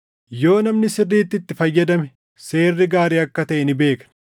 Yoo namni sirriitti itti fayyadame seerri gaarii akka taʼe ni beekna.